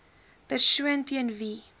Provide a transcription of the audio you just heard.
persoon teen wie